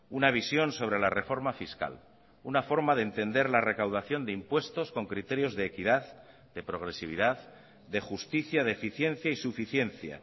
una visión sobre la reforma fiscal una forma de entender la recaudación de impuestos con criterios de equidad de progresividad de justicia de eficiencia y suficiencia